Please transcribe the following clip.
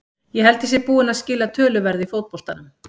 Ég held ég sé búinn að skila töluverðu í fótboltanum.